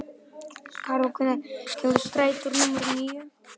Karol, hvenær kemur strætó númer níu?